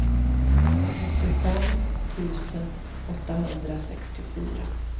nittiofem tusen åttahundrasextiofyra